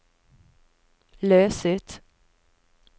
løs ut